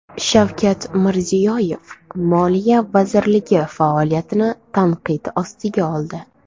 Shavkat Mirziyoyev Moliya vazirligi faoliyatini tanqid ostiga oldi.